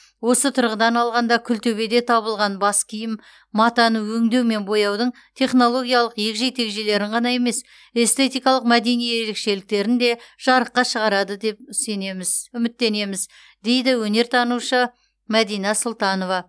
осы тұрғыдан алғанда күлтөбеде табылған бас киім матаны өңдеу мен бояудың технологиялық егжей тегжейлерін ғана емес эстетикалық мәдени ерекшеліктерін де жарыққа шығарады деп сенеміз үміттенеміз дейді өнертанушы мәдина сұлтанова